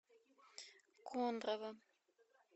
кондрово